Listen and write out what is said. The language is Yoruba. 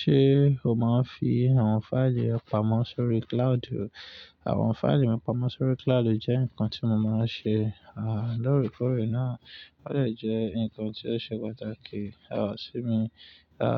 Ṣé o máa ń fi àwọn fáìlì re pamọ́ sórí cloud? Àwọn fáìlì mi pamọ́ sórí cloud jẹ́ nǹkan tí mo máa ń ṣe, à loorekore náà. Ó de jẹ́ ǹkan tí ó ṣe pàtàkì, à sí mi, à,